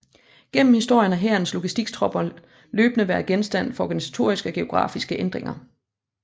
Gennem historien har Hærens logistiktropper løbende været genstand for organisatoriske og geografiske ændringer